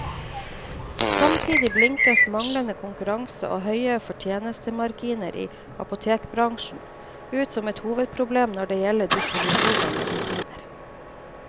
Samtidig blinkes manglende konkurranse, og høye fortjenestemarginer i apotekerbransjen, ut som et hovedproblem når det gjelder distribusjon av medisiner.